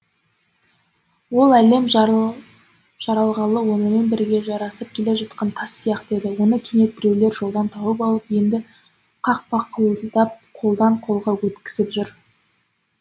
ол әлем жаралғалы онымен бірге жасасып келе жатқан тас сияқты еді оны кенет біреулер жолдан тауып алып енді қақпақылдап қолдан қолға өткізіп жүр